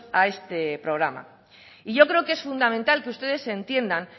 a este programa y yo creo que es fundamental que ustedes entiendan